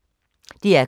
DR K